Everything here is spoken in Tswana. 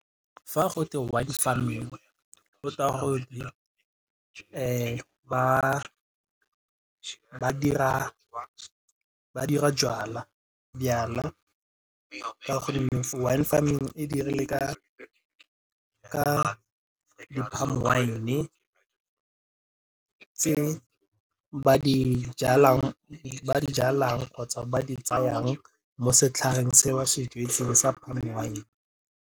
Fa go twe wine farming go tewa gore ba dira jwala ka gonne wine farming e dirile ka di wine tse ba di jalang kgotsa ba di tsayang mo setlhareng se wa se jetseng palm wine.